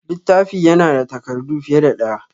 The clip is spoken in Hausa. Littafi ya na da takardu fiye da ɗaya